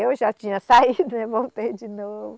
Eu já tinha saído, né e voltei de novo.